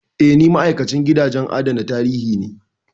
Eh, ni ma'aikacin gidajen adana tarihi ne.